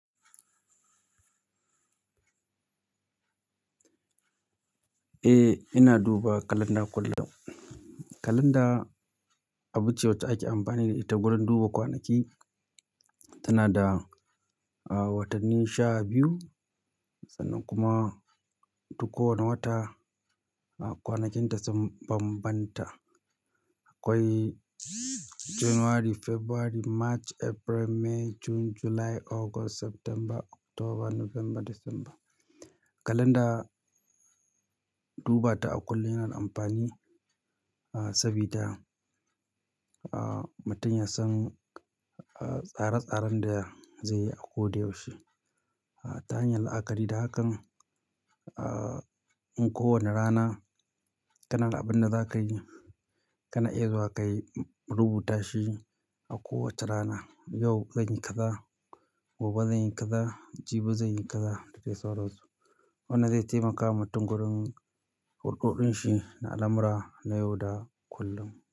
Eh, ina duba kalanda kullum. Kalanda abu ce wacce ake amfani da ita wurin duba kwanaki. Tana da, ah, watanni sha biyu sannan kuma duk wani wata kwanakinta sun bambanta. Akwai January, February, March, April, May, June, July, August, September, October, November, December. Kalanda duba ta a kullum yana da amfani, ah, sabida, ah, mutum ya san, ah, tsare-tsaren da zai yi a ko da yaushe. Ta hanyar la'akari da hakan, ah, in kowane rana kana da abin da za ka yi, kana iya zuwa ka rubuta shi a kowacce rana. Yau zan yi kaza, gobe zan yi kaza, jibi zan yi kaza da dai sauransu. Wannan zai taimaka wa mutum wurin hurɗuɗin shi na al'amura na yau da kullum.